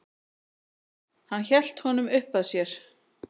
Hann hélt honum uppað sér.